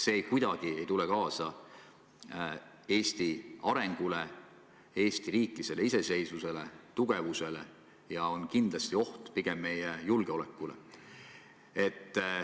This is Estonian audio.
See ei aita kuidagi kaasa Eesti arengule, Eesti riiklikule iseseisvusele, selle tugevusele ja on kindlasti pigem oht meie julgeolekule.